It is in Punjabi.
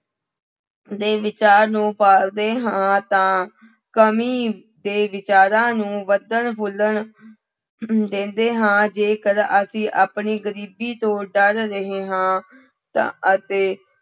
ਦੇ ਵਿਚਾਰ ਨੂੰ ਪਾਲਦੇ ਹਾਂ ਤਾਂ ਕਮੀ ਦੇ ਵਿਚਾਰਾਂ ਨੂੰ ਵਧਣ ਫੁੱਲਣ ਦਿੰਦੇ ਹਾਂ ਜੇਕਰ ਅਸੀਂ ਆਪਣੀ ਗ਼ਰੀਬੀ ਤੋਂ ਡਰ ਰਹੇ ਹਾਂ ਤਾਂ ਅਤੇ